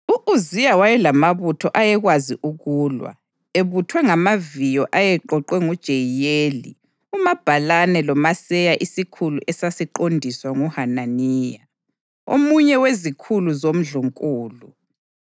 U-Uziya wayelamabutho ayekwazi ukulwa ebuthwe ngamaviyo ayeqoqwe nguJeyiyeli umabhalane loMaseya isikhulu esasiqondiswa nguHananiya, omunye wezikhulu zomndlunkulu.